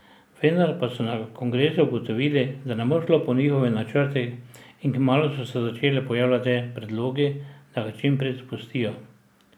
Vendar pa so na kongresu ugotovili, da ne bo šlo po njihovih načrtih in kmalu so se začeli pojavljati predlogi, naj ga čim prej zapustijo.